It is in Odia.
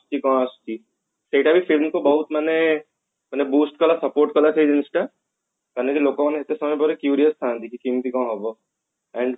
କଣ ଆସୁଛି ସେଟା ବି film କୁ ବହୁତ ମାନେ ମାନେ boost କଲା support କଲା ସେ ଜିନିଷ ଟା ହେଲେବି ଲୋକ ମାନେ ଏତେ ସମୟ ଧରି curious ଥାନ୍ତି କି କେମତି କଣ ହେବ ଆଉ